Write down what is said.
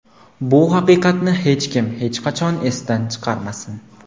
Bu haqiqatni hech kim, hech qachon esidan chiqarmasin.